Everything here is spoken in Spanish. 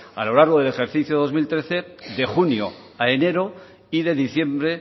a lo largo del ejercicio dos mil trece de junio a enero y de diciembre